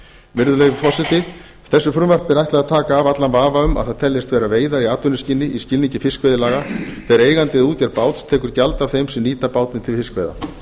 virðulegi forseti þessu frumvarpi er ætlað að taka af allan vafa um að það teljist vera veiðar í atvinnuskyni í skilningi fiskveiðilaga þegar eigandi eða útgerð báts tekur gjald af þeim sem nýta bátinn til fiskveiða